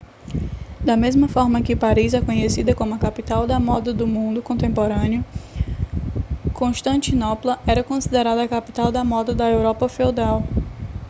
da mesma forma que paris é conhecida como a capital da moda do mundo contemporâneo constantinopla era considerada a capital da moda da europa feudal